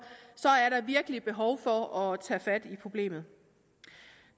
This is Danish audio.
er der virkelig behov for at tage fat i problemet